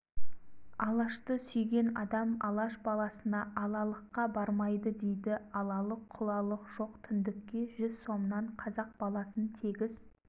алашты сүйген адам алаш баласына алалыққа бармайды дейді алалық-құлалық жоқ түндікке жүз сомнан қазақ баласын тегіс